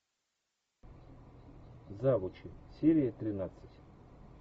завучи серия тринадцать